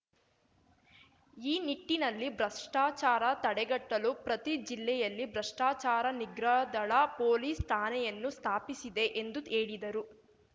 ಈ ನಿಟ್ಟಿನಲ್ಲಿ ಭ್ರಷ್ಟಾಚಾರ ತಡೆಗಟ್ಟಲು ಪ್ರತಿ ಜಿಲ್ಲೆಯಲ್ಲಿ ಭ್ರಷ್ಟಾಚಾರ ನಿಗ್ರಹದಳ ಪೊಲೀಸ್‌ ಠಾಣೆಯನ್ನು ಸ್ಥಾಪಿಸಿದೆ ಎಂದು ಹೇಳಿದರು